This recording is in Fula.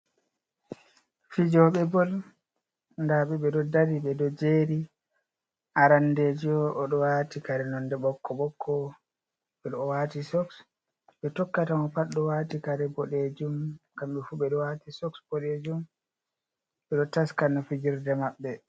Fijooɓe bol, nda ɓe ɓe ɗo dari, ɓe ɗo jeri arandejo, o ɗo wati kare nonde ɓokko-ɓokko, ɓe ɗo wati soks, ɓe tokkata mo pat ɗo wati kare boɗejum, kamɓe fuu ɓe ɗo wati soks boɗejum, ɓe ɗo taska no fijirde maɓɓe.